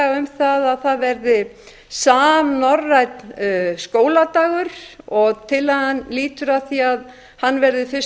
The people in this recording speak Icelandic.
tillaga um að það verði samnorrænan skóladag tillagan lýtur að því að hann verði fyrst